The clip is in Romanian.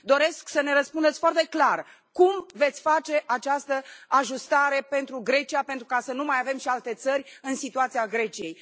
Doresc să ne răspundeți foarte clar cum veți face această ajustare pentru Grecia, pentru ca să nu mai avem și alte țări în situația Greciei?